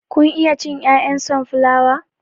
Kun iya cin 'ya'yan sonflawa?